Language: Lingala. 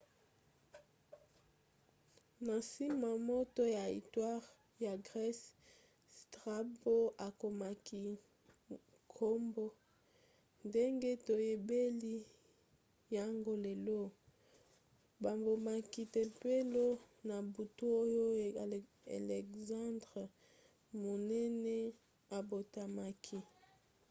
na nsima moto ya istware ya grese strabo akomaki nkombo ndenge toyebeli yango lelo. babomaki tempelo na butu oyo elexandre monene abotamaki